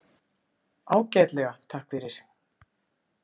„Ágætlega, takk fyrir.“